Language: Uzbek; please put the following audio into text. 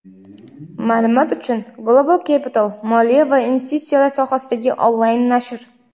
Maʼlumot uchun: "Global Capital" - moliya va investitsiyalar sohasidagi onlayn nashr.